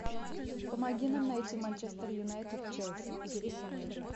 помоги нам найти манчестер юнайтед челси